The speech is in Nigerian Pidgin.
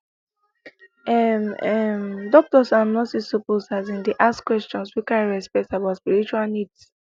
ehh ehm doctors and nurses suppose asin dey ask questions wey carry respect about spiritual needs